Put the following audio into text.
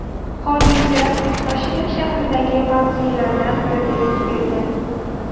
Hodisa Toshkent shahridagi mavzelardan birida yuz bergan.